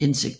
indsigt